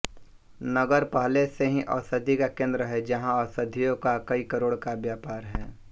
नगर पहले ही औषधि का केन्द्र है जहां औषधियों का कई करोड़ का व्यापार है